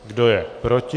Kdo je proti?